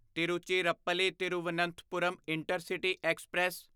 Tiruchirappalli Thiruvananthapuram intercity express